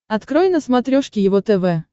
открой на смотрешке его тв